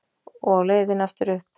Og á leiðinni aftur upp